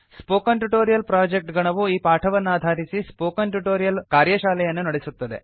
spoken tutorial project ಗಣವು ಈ ಪಾಠವನ್ನಾಧಾರಿಸಿ ಸ್ಪೋಕನ್ ಟ್ಯುಟೊರಿಯಲ್ ಕಾರ್ಯಶಾಲೆಯನ್ನು ನಡೆಸುತ್ತದೆ